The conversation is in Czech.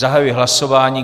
Zahajuji hlasování.